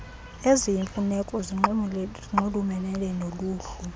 eziyimfuneko zinxulumene noluhlu